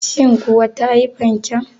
Shin kuwa ta yi fanken?